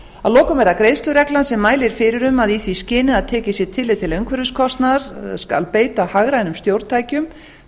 að lokum er það greiðslureglan sem mælir fyrir um að í því skyni að tekið sé tillit til umhverfiskostnaðar skal beita hagrænum stjórntækjum